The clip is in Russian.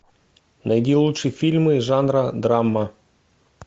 найди лучшие фильмы жанра драма